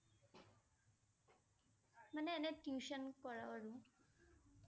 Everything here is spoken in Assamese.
মানে এনে tuition কৰাও আৰু ।